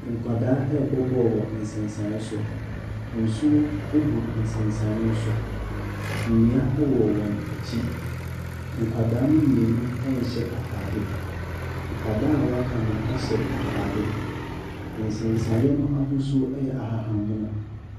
Nkwadaa rebɔ bɔɔlo wɔ nsensan so. Nsuo gu nsensan no so. Nnua wɔ wɔn akyi. Nkwadaa no mu mmienu nhyɛ atadeɛ. Nkwadaa a wɔaka no hyɛ atadeɛ. Nsenane no ahosuo yɛ ahahammono.